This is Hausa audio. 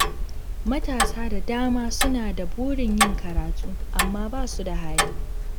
Matasa da dama suna da burin yin karatu, amma ba su da hali.